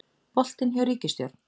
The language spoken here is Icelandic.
Boltinn hjá ríkisstjórn